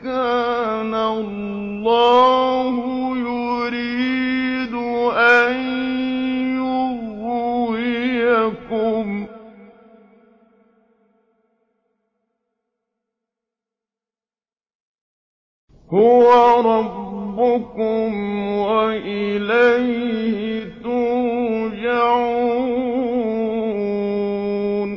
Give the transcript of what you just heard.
كَانَ اللَّهُ يُرِيدُ أَن يُغْوِيَكُمْ ۚ هُوَ رَبُّكُمْ وَإِلَيْهِ تُرْجَعُونَ